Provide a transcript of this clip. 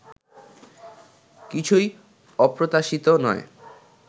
কিছুই অপ্রত্যাশিত নয়